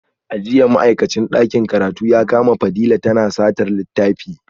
A jiya ma’aikacin dakin karatu ya kama Fadila tana satar littafi